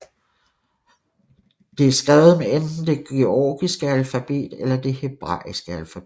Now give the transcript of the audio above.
Det er skrevet med enten det georgiske alfabet eller det hebraiske alfabet